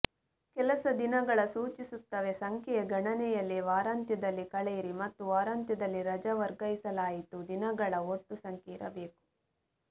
ಕೆಲಸ ದಿನಗಳ ಸೂಚಿಸುತ್ತವೆ ಸಂಖ್ಯೆಯ ಗಣನೆಯಲ್ಲಿ ವಾರಾಂತ್ಯದಲ್ಲಿ ಕಳೆಯಿರಿ ಮತ್ತು ವಾರಾಂತ್ಯದಲ್ಲಿ ರಜಾ ವರ್ಗಾಯಿಸಲಾಯಿತು ದಿನಗಳ ಒಟ್ಟು ಸಂಖ್ಯೆ ಇರಬೇಕು